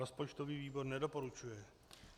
Rozpočtový výbor nedoporučuje.